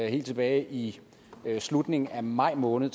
helt tilbage i slutningen af maj måned